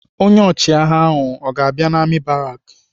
Onye ọchịagha ahụ ọ ga-abịa n'amị̀ baraki?